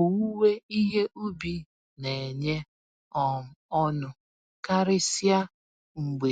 Owuwe ihe ubi nenye um ọṅụ—karịsịa mgbe